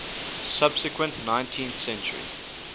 subsequent nineteenth century